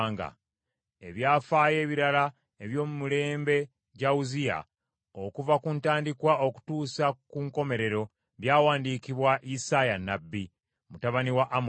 Ebyafaayo ebirala eby’omu mirembe gya Uzziya, okuva ku ntandikwa okutuusa ku nkomerero, byawandiikibwa Isaaya nnabbi, mutabani wa Amozi.